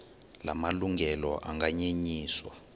la malungelo anganyenyiswa